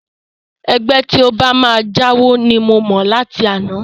Ẹgbẹ́ tí ó bá máa jáwo ni mo mọ̀ láti àná